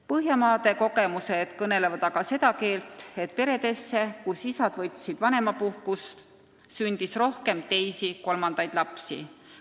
Põhjamaade kogemused aga näitavad, et peredesse, kus isad on võtnud vanemapuhkust, on sündinud rohkem teisi-kolmandaid lapsi.